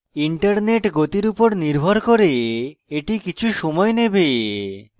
internet গতির উপর নির্ভর করে এটি কিছু সময় নেবে